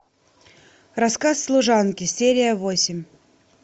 рассказ служанки серия восемь